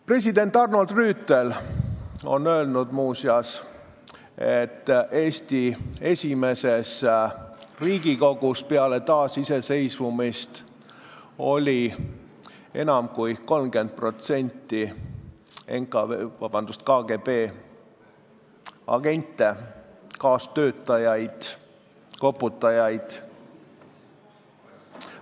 President Arnold Rüütel on öelnud, et Eesti esimeses Riigikogus peale taasiseseisvumist olid enam kui 30% liikmetest KGB agendid, kaastöötajad, koputajad.